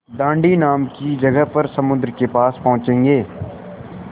दाँडी नाम की जगह पर समुद्र के पास पहुँचेंगे